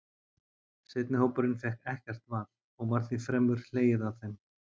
Seinni hópurinn fékk ekkert val, og var því fremur hlegið að þeim.